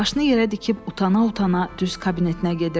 başını yerə dikib utana-utana düz kabinetinə gedirdi.